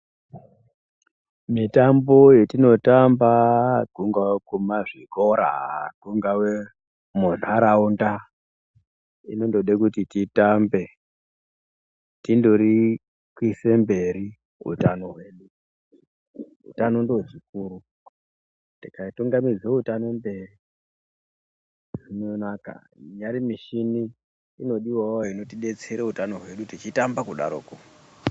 Mitambo yetinotamba kungava kumazvikora kungave mundaraunda inondode kuti titambe tindori kuise mberi utano hwedu, utano ndiwo hukuru tikatungamidza utano mberi zvinonaka inyari michini inodiwawo inotidetsera utano hwedu tichitamba kudaroko.